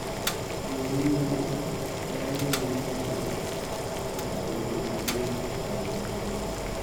Jo Yimbo kawo nying nyathi kaka gima duong’ ahinya.